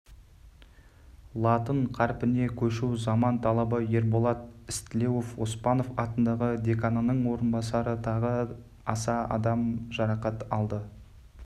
латын қарпіне көшу заман талабы ерболат істілеуов оспанов атындағы деканының орынбасары тағы аса адам жарақат алды